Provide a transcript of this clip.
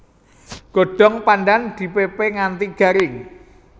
Godhong pandhan dipépé nganti garing